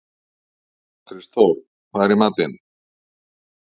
Kristþór, hvað er í matinn?